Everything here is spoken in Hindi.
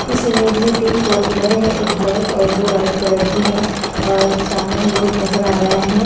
इस इमेज में तीन फोर व्हीलर है एक ब्लैक और दो वाइट कलर की है और सामने ही रोड नजर आ रहा है।